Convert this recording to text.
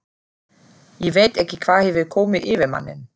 Ég veit ekki hvað hefur komið yfir manninn.